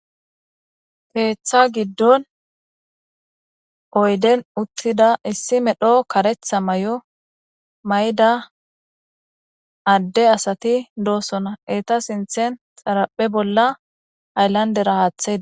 Keeththa giddon oyden uttida issi medho karetha may7o may7da adde asati doosona eeta sinthen xaraphe bolla aylandera haaththei